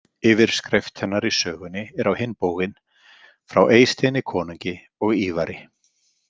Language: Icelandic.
Yfirskrift hennar í sögunni er á hinn bóginn: „Frá Eysteini konungi og Ívari“.